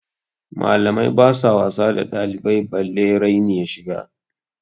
Malamai basu wasa da ɗalibai balle raini ya shiga.